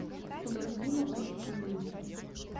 константину алексеевичу